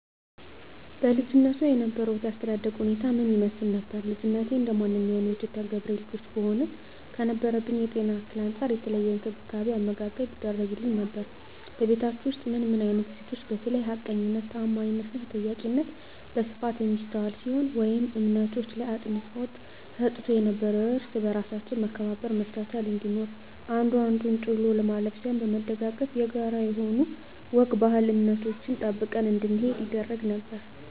በልጅነትዎ የነበሮት የአስተዳደግ ሁኔታ ምን ይመስል ነበር? ልጅነቴ እንደማንኛውም የኢትዮጵያ ገበሬ ልጆች ብሆንም ከነበረብኝ የጤና እክል አንፃር የተለየ እንክብካቤ አመጋገብ ይደረግግልኝ ነበር በቤታቹ ውስጥ ምን አይነት እሴቶች በተለይ ሀቀኝነት ታአማኒትና ተጠያቂነት በስፋት የሚስተዋል ሲሆን ወይም እምነቶች ላይ አፅንዖት ተሰጥቶ ነበረው እርስ በርሳችን መከባበር መቻቻል እንዲኖር አንዱ አንዱን ጥሎ ለማለፍ ሳይሆን በመደጋገፍ የጋራ የሆኑ ወግ ባህል እምነቶችን ጠብቀን እንድንሄድ ይደረግ ነበር